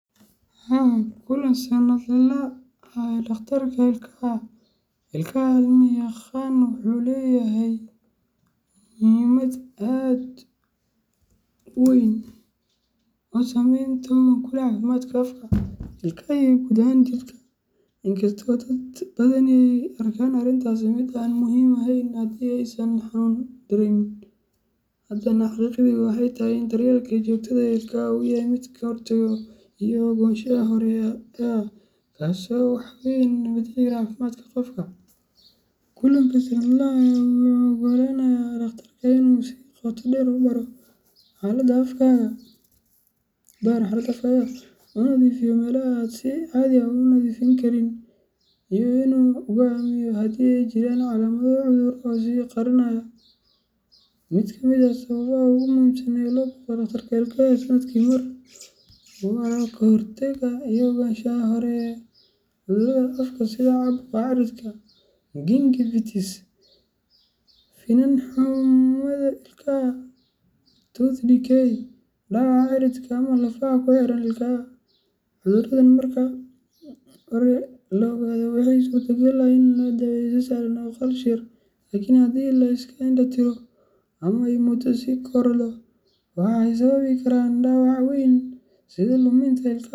La kulan sanadlaha ah ee dhakhtarka ilkaha ilkaha cilmi yaqaan wuxuu leeyahay muhiimad aad u weyn oo saameyn togan ku leh caafimaadka afka, ilkaha, iyo guud ahaan jidhka. Inkasta oo dad badani ay u arkaan arrintaasi mid aan muhiim ahayn haddii aysan xanuun dareemeyn, haddana xaqiiqdu waxay tahay in daryeelka joogtada ah ee ilkaha uu yahay mid ka hortag iyo ogaansho hore ah, kaasoo wax weyn ka beddeli kara caafimaadka qofka. Kulanka sannadlaha ah wuxuu u oggolaanayaa dhakhtarka in uu si qoto dheer u baaro xaaladda afkaaga, uu nadiifiyo meelaha aad si caadi ah u nadiifin karin, iyo inuu go’aamiyo haddii ay jiraan calaamado cudurro ah oo is qarinaaya. Mid ka mid ah sababaha ugu muhiimsan ee loo booqdo dhakhtarka ilkaha sanadkii mar waa ka hortagga iyo ogaanshaha hore ee cudurrada afka sida caabuqa cirridka gingivitis, finan xumada ilkaha tooth decay, iyo dhaawaca ciridka ama lafaha ku xeeran ilkaha. Cuduradan marka hore la ogaado waxaa suurtagal ah in lagu daweeyo si sahlan oo kharash yar, laakiin haddii la iska indho tiro ama ay muddo sii korodho, waxay sababi karaan dhaawac weyn sida luminta ilkaha .